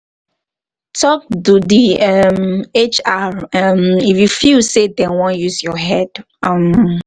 talk to di um hr um if you feel sey dem wan use your head um